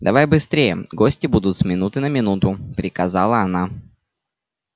давай быстрее гости будут с минуты на минуту приказала она